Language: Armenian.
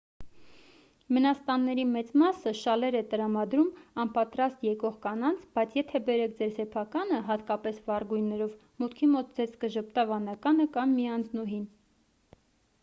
մենաստանների մեծ մասը շալեր է տրամադրում անպատրաստ եկող կանանց բայց եթե բերեք ձեր սեփականը հատկապես վառ գույներով մուտքի մոտ ձեզ կժպտա վանականը կամ միանձնուհին